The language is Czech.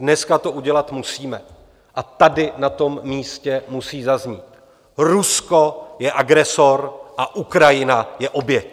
Dneska to udělat musíme a tady na tom místě musí zaznít: Rusko je agresor a Ukrajina je oběť!